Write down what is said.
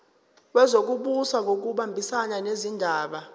wezokubusa ngokubambisana nezindaba